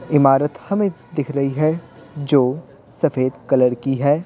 इमारत हमें दिख रही है जो सफेद कलर की है।